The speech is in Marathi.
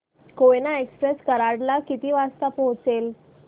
कोयना एक्सप्रेस कराड ला किती वाजता पोहचेल